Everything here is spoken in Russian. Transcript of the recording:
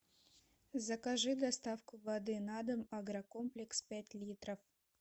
закажи доставку воды на дом агрокомплекс пять литров